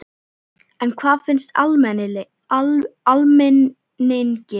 En hvað finnst almenningi?